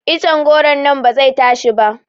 Iccen goro nan ba zai tashi ba